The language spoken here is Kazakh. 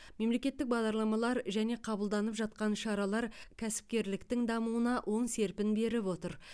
мемлекеттік бағдарламалар және қабылданып жатқан шаралар кәсіпкерліктің дамуына оң серпін беріп отыр